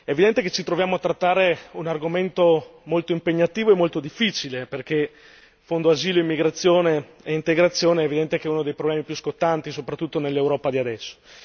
È evidente che ci troviamo a trattare un argomento molto impegnativo e molto difficile, perché il fondo asilo, immigrazione e integrazione è evidente che è uno dei problemi più scottanti soprattutto nell'Europa di adesso.